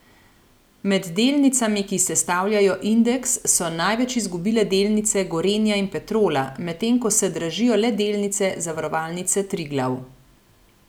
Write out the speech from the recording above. Med delnicami, ki sestavljajo indeks, so največ izgubile delnice Gorenja in Petrola, medtem ko se dražijo le delnice Zavarovalnice Triglav.